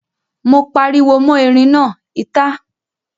Mo pariwo mọ́ erin náà, ìta!